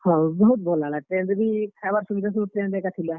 ହଁ, ବହୁତ୍ ଭଲ୍ ଲାଗ୍ ଲା train ରେ ବି ଖାଏବାର୍ ସୁବିଧା ସବୁ train ରେ ଏକା ଥିଲା।